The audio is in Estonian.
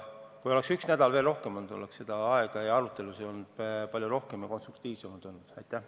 Kui oleks üks nädal veel aega olnud, oleks arutelusid olnud palju rohkem ja need oleksid olnud konstruktiivsemad.